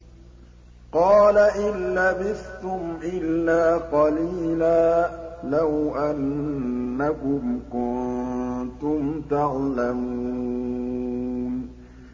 قَالَ إِن لَّبِثْتُمْ إِلَّا قَلِيلًا ۖ لَّوْ أَنَّكُمْ كُنتُمْ تَعْلَمُونَ